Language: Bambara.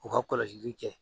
U ka kɔlɔsi' li kɛ